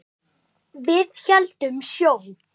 Við héldum sjó.